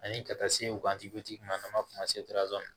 Ani ka taa se wajibi ma n'an m'a f'o ma